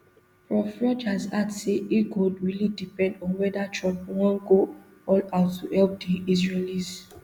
prof rogers add say e go really depend on weda trump wan go all out to help di israelis